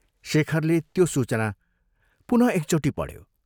शेखरले त्यो सूचना पुनः एकचोटि पढ्यो।